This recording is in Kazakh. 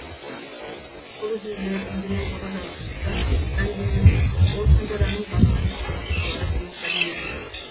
бұл үзінділер үндінің ұлы жазушысы дандиннің он ханзаданың басынан кешкен оқиғалары деген кітабынан алынды